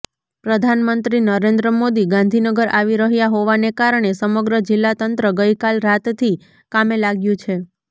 પ્રધાનમંત્રી નરેન્દ્રમોદી ગાંધીનગર આવી રહ્યા હોવાને કારણે સમગ્ર જિલ્લા તંત્ર ગઈકાલ રાતથી કામે લાગ્યું છે